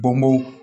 Bɔnko